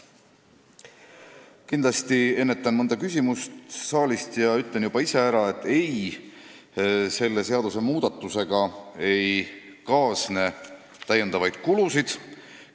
Kindlasti ennetan mõnda küsimust saalist ja ütlen juba ise ära, et selle seadusmuudatusega ei kaasne täiendavaid kulusid.